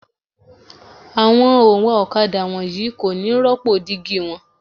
Àwọn òǹwà ọ̀kadà wọ̀nyí kò ní rópò dígí wọn.